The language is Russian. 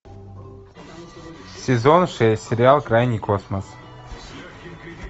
сезон шесть сериал крайний космос